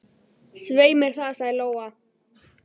Ég veit það, sagði Lóa.